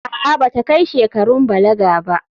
A'a, ba ta kai shekarun balaga ba.